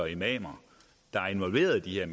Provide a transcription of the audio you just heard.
imamer der er involveret i de her